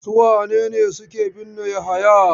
Su wane ne suke binne Yahaya?